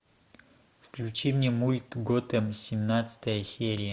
включи мне мульт готэм семнадцатая серия